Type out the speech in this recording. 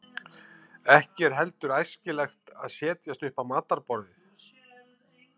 ekki er heldur æskilegt að setjast upp á matarborðið